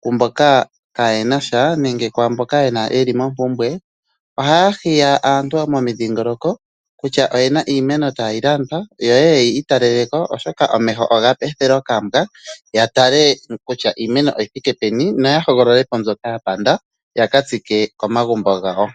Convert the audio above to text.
kwaamboka kayenasha nenge kwaamboka yeli mompumbwe. Ohaya hiya aantu momidhingoloko kutya oyena iimeno tayilandwa yo yeye yiitalele ko , oshoka omeho oga ethelwa okambwa. Yatale kutya iimeno oyithike peni noyahoogolole po mbyoka yapanda yakatsike komagumbo gawo.